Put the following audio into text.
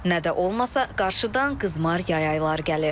Nə də olmasa qarşıdan qızmar yay ayları gəlir.